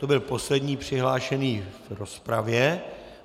To byl poslední přihlášený v rozpravě.